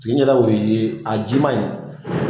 yɛrɛ o ye a jiman ye